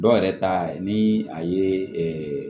Dɔw yɛrɛ ta ye ni a ye